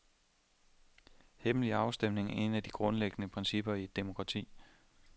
Hemmelige afstemninger er et af de grundlæggende principper i et demokrati.